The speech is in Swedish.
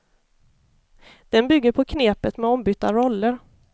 Den bygger på knepet med ombytta roller.